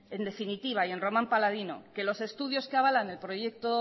en definitiva y en román paladino que los estudios que avalan el proyecto